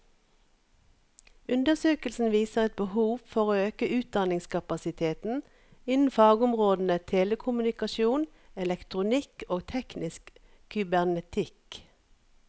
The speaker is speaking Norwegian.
Undersøkelsen viser et behov for å øke utdanningskapasiteten innen fagområdene telekommunikasjon, elektronikk og teknisk kybernetikk.